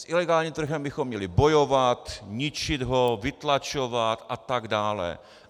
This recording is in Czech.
S ilegálním trhem bychom měli bojovat, ničit ho, vytlačovat a tak dále.